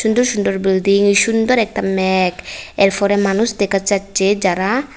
সুন্দর সুন্দর বিল্ডিং সুন্দর একটা ম্যাঘ এরফরে মানুষ দেখা যাচ্ছে যারা--